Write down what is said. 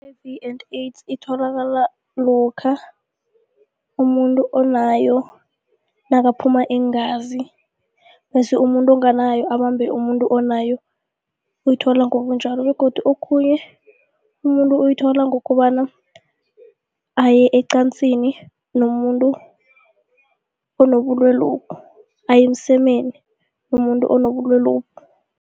I-H_I_V and AIDS itholakala lokha umuntu onayo nakaphuma iingazi bese umuntu onganayo abambhe umuntu onayo, uyithola ngobunjalo begodu okhunye, umuntu uyithola ngokobana aye ecansini nomuntu onobulwelobu, aye emsemeni nomuntu onobulwelobu.